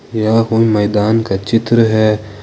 यह कोई मैदान का चित्र है।